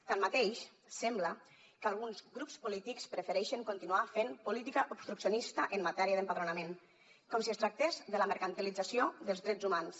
tanmateix sembla que alguns grups polítics prefereixen continuar fent política obstruccionista en matèria d’empadronament com si es tractés de la mercantilització dels drets humans